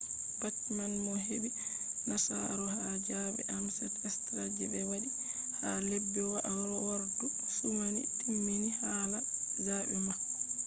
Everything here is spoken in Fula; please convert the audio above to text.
bachman mo heɓi nasaru ha zaɓe ames straw je ɓe waɗi ha lebbi wairordu sumai timmini hala zaɓe mako